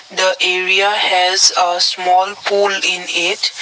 Tha area has a small pool in it.